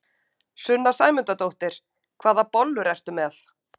Sunna Sæmundsdóttir: Hvaða bollur ert þú með?